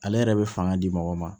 Ale yɛrɛ bɛ fanga di mɔgɔ ma